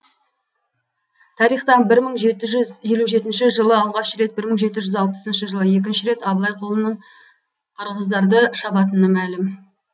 тарихта бір мың жеті жүз елу жетінші жылы алғаш рет бір мың жеті жүз алпысыншы жылы екінші рет абылай қолының қырғыздарды шабатыны мәлім